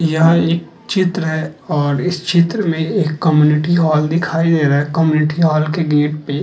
यह एक चित्र है और इस चित्र में एक कम्युनिटी हॉल दिखाई दे रहा है। कम्युनिटी हाल के गेट पे --